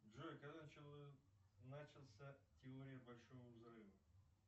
джой когда начался теория большого взрыва